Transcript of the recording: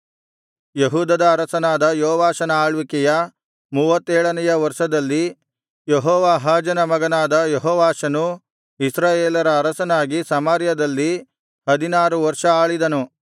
ಯೆಹೂದದ ಅರಸನಾದ ಯೋವಾಷನ ಆಳ್ವಿಕೆಯ ಮೂವತ್ತೇಳನೆಯ ವರ್ಷದಲ್ಲಿ ಯೆಹೋವಾಹಾಜನ ಮಗನಾದ ಯೆಹೋವಾಷನು ಇಸ್ರಾಯೇಲರ ಅರಸನಾಗಿ ಸಮಾರ್ಯದಲ್ಲಿ ಹದಿನಾರು ವರ್ಷ ಆಳಿದನು